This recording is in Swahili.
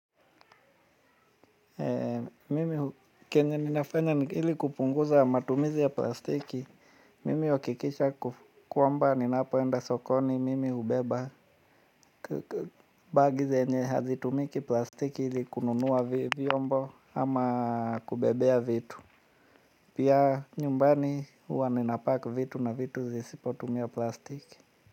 Mimi kenye ninafanya ili kupunguza matumizi ya plastiki. Mimi huhakikisha kwamba ninapoenda sokoni mimi hubeba bagi zenye hazitumiki plastiki ili kununua vyombo ama kubebea vitu. Pia nyumbani huwa ninapack vitu na vitu zisipotumia plastiki.